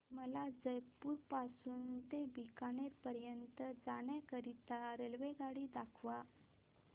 मला जयपुर पासून ते बीकानेर पर्यंत जाण्या करीता रेल्वेगाडी दाखवा